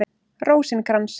Rósinkrans